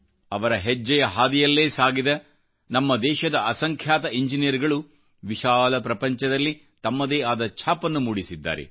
ಅವರ ಹೆಜ್ಜೆಯ ಹಾದಿಯಲ್ಲೇ ಸಾಗಿದ ನಮ್ಮ ದೇಶದ ಅಸಂಖ್ಯಾತ ಇಂಜಿನಿಯರ್ಗಳು ವಿಶಾಲ ಪ್ರಪಂಚದಲ್ಲಿ ತಮ್ಮದೇ ಆದ ಛಾಪನ್ನುಮೂಡಿಸಿದ್ದಾರೆ